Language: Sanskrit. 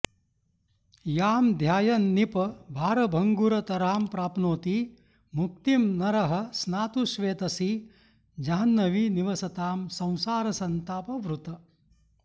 यां ध्यायन्न्पि भारभङ्गुरतरां प्राप्नोति मुक्तिं नरः स्नातुश्वेतसि जाह्न्वी निवसतां संसारसन्तापहृत्